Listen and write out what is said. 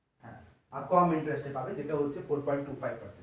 আর কম interest এ পাবেন যেটা হচ্ছে four point two five percent